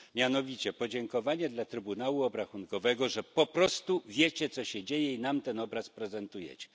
Mianowicie podziękowanie dla Trybunału Obrachunkowego, że po prostu wiecie, co się dzieje, i nam ten obraz prezentujecie.